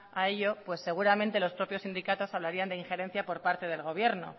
a ello seguramente los propios sindicatos hablarían de injerencia por parte del gobierno